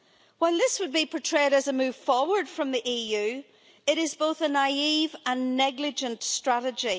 While this would be portrayed as a move forward from the EU, it is both a naive and negligent strategy.